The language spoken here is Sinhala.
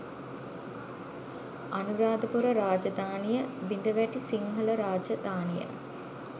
අනුරාධපුර රාජධානිය බිඳවැටි සිංහල රාජධානිය